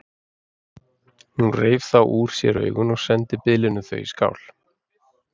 Hún reif þá úr sér augun og sendi biðlinum þau í skál.